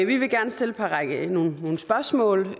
vi vil gerne stille nogle spørgsmål